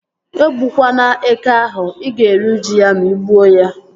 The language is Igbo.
E gbukwana eke ahụ! Ị ga-eri uju ya ma ị gbuo ya